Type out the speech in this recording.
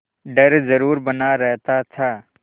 डर जरुर बना रहता था